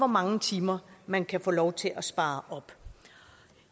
mange timer man kan få lov til at spare op